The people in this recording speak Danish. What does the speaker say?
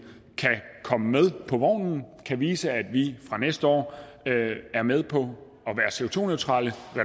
kan komme med på vognen og vise at vi fra næste år er med på